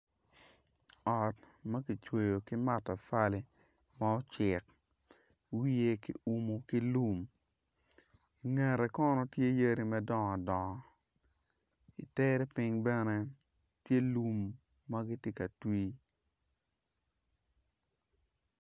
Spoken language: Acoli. Ot ma ki cweyo ki mata fali ma ocek wiye ki umu ki lum ngette kono tye yadi madongo dongo itere piny bene tye lum ma gitye ka twi